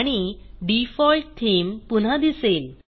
आणि default theme पुन्हा दिसेल